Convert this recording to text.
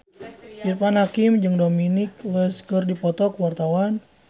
Irfan Hakim jeung Dominic West keur dipoto ku wartawan